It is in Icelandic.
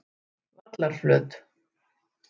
Vallarflöt